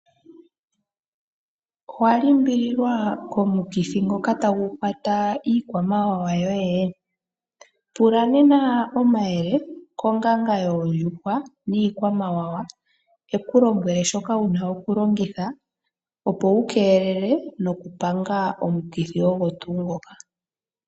Owa limbililwa komukithi ngoka tagu kwata iikwamawawa yoye? Pula nena omayele konganga yoondjuhwa niikwamawawa yi ku lombwele shoka wu na okulongitha, opo wu keelele nokupanga omukithi ogo tuu ngoka.